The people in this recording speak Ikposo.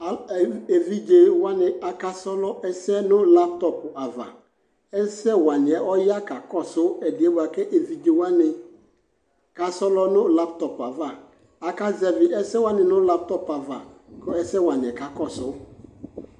ɛvidzɛ wani aka srɔ ɛsɛ nʋ laptop aɣa, ɛsɛ waniɛ ɔya kakɔsʋ ɛdiɛ bʋakʋ ɛvidzɛ wani ka srɔ nʋ laptop aɣa, aka zɛvi ɛsɛ wani nʋ laptop aɣa kʋ ɛsɛ waniɛ kakɔsʋ